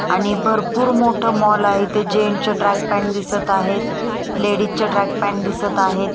आणि भरपूर मोठं मॉल आहे ते जेंटच्या ट्रॅक पॅंट दिसत आहेत लेडिजच्या ट्रॅक पॅंट दिसत आहेत.